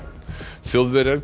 Þjóðverjar geta